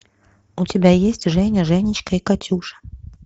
у тебя есть женя женечка и катюша